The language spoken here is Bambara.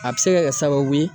A bi se ka kɛ sababu ye